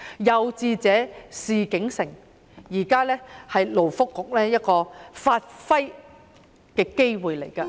有志者事竟成，現在是勞工及福利局發揮的機會。